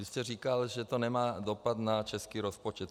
Vy jste říkal, že to nemá dopad na český rozpočet.